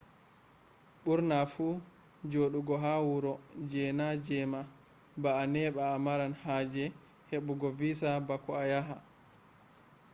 burna fu jodugo ha wuro je na jema ba a neba a maran haje hebbugo visa bako a yaha